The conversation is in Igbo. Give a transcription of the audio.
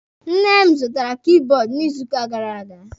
Nne m zụtaara kibọọdụ n'izuuka gara aga.